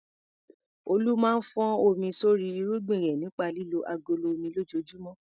Olu máa ń fọ́n omi sórí irúgbìn rẹ̀ nípa lílo agolo omi lójoojúmọ́.